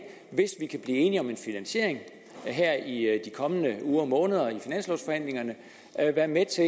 hvis vi kan blive enige om en finansiering her i de kommende uger og måneder i finanslovforhandlingerne være med til